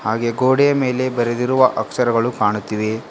ಹಾಗೆ ಗೋಡೆಯ ಮೇಲೆ ಬರೆದಿರುವ ಅಕ್ಷರಗಳು ಕಾಣುತ್ತಿವೆ.